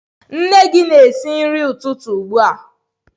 Nne gị na-esi nri ụtụtụ ugbu a.